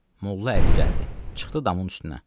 Molla Əli gəldi, çıxdı damın üstünə.